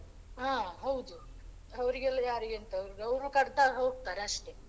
ಹಾ ಹೌದು ಅವ್ರಿಗೆಲ್ಲ ಯಾರಿಗೆ ಎಂತ ಅವ್ರು ಕಡ್ದ್ ಹಾಕಿ ಹೋಕ್ತಾರೆ ಅಷ್ಟೇ .